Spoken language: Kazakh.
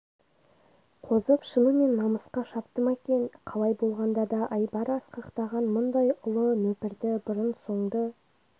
қозып шынымен намысқа шапты ма екен қалай болғанда да айбары асқақтаған мұндай ұлы нөпірді бұрын-соңды